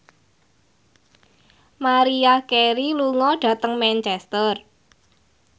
Maria Carey lunga dhateng Manchester